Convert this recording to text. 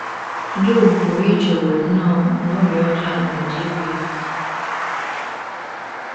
Job pụrụ ichewo nnọọ na ọrịa ọjọọ a gaje igbu ya.